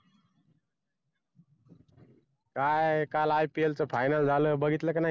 काय काल IPL final झालं बघितलं का नाही